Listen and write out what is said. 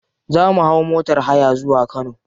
Za mu hau motar haya zuwa kano.